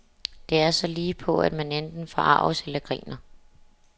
Det er så ligepå, at man enten forarges eller griner.